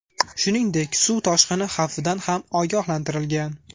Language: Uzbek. Shuningdek, suv toshqini xavfidan ham ogohlantirgan.